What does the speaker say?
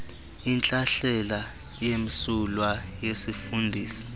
intlahlela emsulwa yesifundisi